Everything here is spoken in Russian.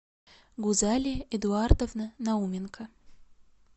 гузалия эдуардовна науменко